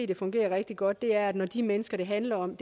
det fungerer rigtig godt det er når de mennesker det handler om